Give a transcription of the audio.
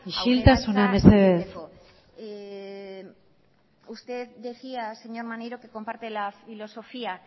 isiltasuna mesedez aurrerantza egiteko usted decía señor maneiro que comparte la filosofía